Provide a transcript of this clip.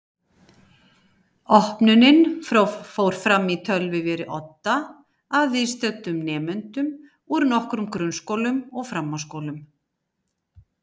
Opnunin fór fram í tölvuveri í Odda að viðstöddum nemendum úr nokkrum grunnskólum og framhaldsskólum.